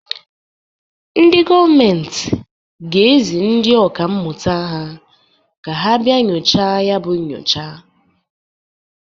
Ndị gọọmentị ga-ezi ndị ọka mmụta ha ka ha bia nyochaa yabụ nchọpụta.